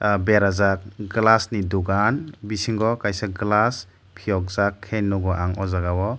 ah berajak glass ni dogan bisingo kaisa glass piyok jak ke nogo ang o jaga o.